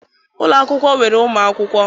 Ụlọ akwụkwọ nwere ụmụ akwụkwọ.